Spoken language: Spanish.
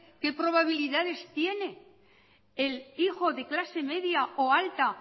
qué probabilidades tiene el hijo de clase media o alta